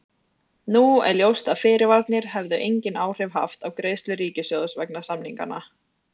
Nú er ljóst að fyrirvararnir hefðu engin áhrif haft á greiðslur ríkissjóðs vegna samninganna.